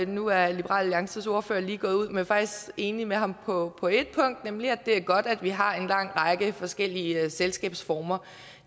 nu er liberal alliances ordfører lige gået ud men faktisk enig med ham på på ét punkt nemlig at det er godt at vi har en lang række forskellige selskabsformer